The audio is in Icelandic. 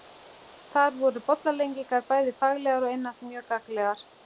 Þar voru bollaleggingar bæði faglegar og einatt mjög gagnlegar.